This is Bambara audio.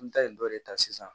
An bɛ taa nin dɔ de ta sisan